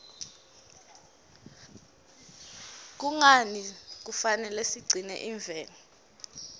kungani kufanele sigcine imvelo